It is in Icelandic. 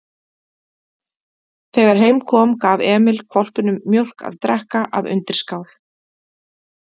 Þegar heim kom gaf Emil hvolpinum mjólk að drekka af undirskál.